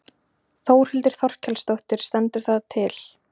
Þórhildur Þorkelsdóttir: Stendur það til?